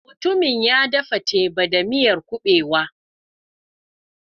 Mutumin ya dafa teba da miyar kuɓewa.